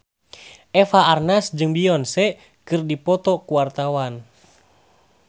Eva Arnaz jeung Beyonce keur dipoto ku wartawan